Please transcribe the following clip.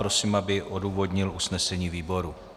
Prosím, aby odůvodnil usnesení výboru.